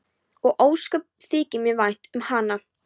Og ósköp þykir mér vænt um hana.